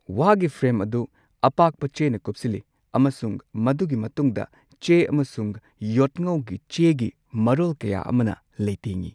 ꯋꯥꯒꯤ ꯐ꯭ꯔꯦꯝ ꯑꯗꯨ ꯑꯄꯥꯛꯄ ꯆꯦꯅ ꯀꯨꯞꯁꯤꯜꯂꯤ ꯑꯃꯁꯨꯡ ꯃꯗꯨꯒꯤ ꯃꯇꯨꯡꯗ ꯆꯦ ꯑꯃꯁꯨꯡ ꯌꯣꯠꯉꯧꯒꯤ ꯆꯦꯒꯤ ꯃꯔꯣꯜ ꯀꯌꯥ ꯑꯃꯅ ꯂꯩꯇꯦꯡꯉꯤ꯫